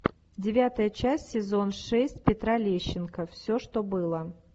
девятая часть сезон шесть петра лещенко все что было